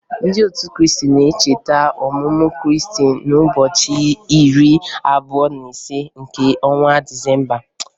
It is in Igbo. Ndị otu Kriisti na-echeta ọmụmụ Kriisti n'ụbọchị iri abụọ na ise nke ọnwa Disemba